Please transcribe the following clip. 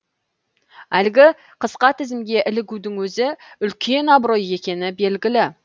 әлгі қысқа тізімге ілігудің өзі үлкен абырой екені белгілі